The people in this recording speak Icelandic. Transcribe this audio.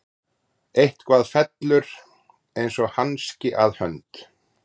Eitthvað fellur eins og hanski að hönd